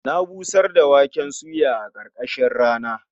Na busar da waken suya a ƙarkashin rana.